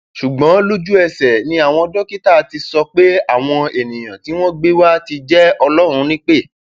ṣùgbọn lójúẹsẹ ni àwọn dókítà ti sọ pé àwọn ènìyàn tí wọn gbé wa ti jẹ ọlọrun nípẹ